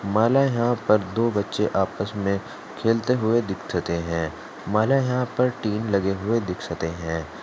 यहां पीर दो बच्चे आपस में खेलते हुए दीक्षते हैं यहां प्रति टीम बने हुए दीक्षते हैं।